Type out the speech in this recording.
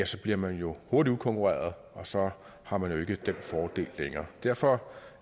så bliver man jo hurtigt udkonkurreret og så har man jo ikke den fordel længere derfor